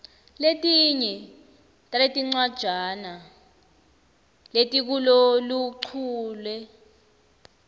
letinye taletincwajana letikuloluchule